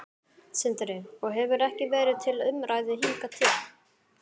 Sindri: Og hefur ekki verið til umræðu hingað til?